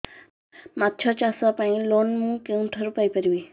ମାଛ ଚାଷ ପାଇଁ ଲୋନ୍ ମୁଁ କେଉଁଠାରୁ ପାଇପାରିବି